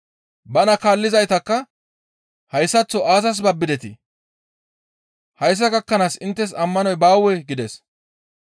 Bana kaallizaytakka, «Hayssaththo aazas babbidetii? Hayssa gakkanaas inttes ammanoy baawee?» gides.